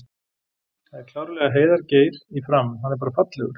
Það er klárlega Heiðar Geir í Fram, hann er bara fallegur!!